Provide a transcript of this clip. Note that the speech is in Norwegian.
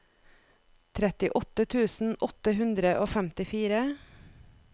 trettiåtte tusen åtte hundre og femtifire